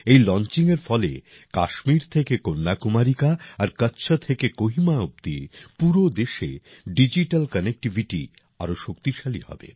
এই লঞ্চঙ্গিয়ের ফলে কাশ্মীর থেকে কন্যাকুমারিকা আর কচ্ছ থেকে কোহিমা অবধি পুরো দেশে ডিজিটাল কানেক্টিভিটি আরও শক্তিশালী হবে